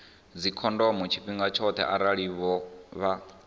dzikhondomo tshifhinga tshoṱhe arali vha